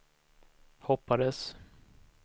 hoppades